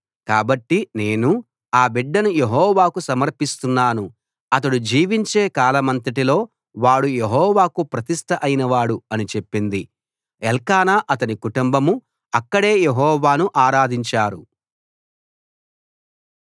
కాబట్టి నేను ఆ బిడ్డను యెహోవాకు సమర్పిస్తున్నాను అతడు జీవించే కాలమంతటిలో వాడు యెహోవాకు ప్రతిష్ట అయిన వాడు అని చెప్పింది ఎల్కానా అతని కుటుంబం అక్కడే యెహోవాను ఆరాధించారు